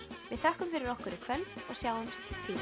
við þökkum fyrir okkur í kvöld og sjáumst síðar